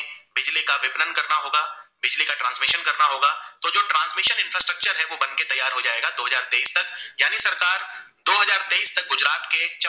गुजरात के